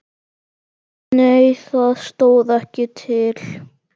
Nei það stóð ekki til.